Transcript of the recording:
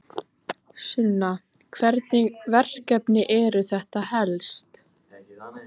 Sunna: Hvernig verkefni eru þetta helst?